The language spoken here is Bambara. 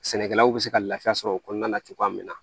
Sɛnɛkɛlaw bɛ se ka lafiya sɔrɔ o kɔnɔna na cogoya min na